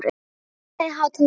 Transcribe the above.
Hlökk, hækkaðu í hátalaranum.